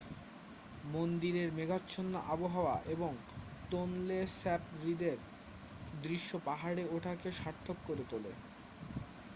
মন্দিরের মেঘাচ্ছন্ন আবহাওয়া এবং টোনলে স্যাপ হ্রদের দৃশ্য পাহাড়ে ওঠাকে সার্থক করে তোলে